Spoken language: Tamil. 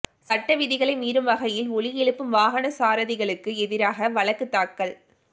சட்டவிதிகளை மீறும் வகையில் ஒலி எழுப்பும் வாகன சாரதிகளுக்கு எதிராக வழக்கு தாக்கல்